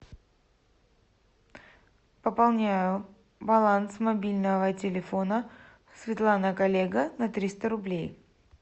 пополняю баланс мобильного телефона светлана коллега на триста рублей